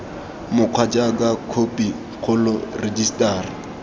mokgwa jaaka khophi kgolo rejisetara